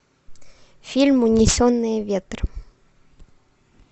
фильм унесенные ветром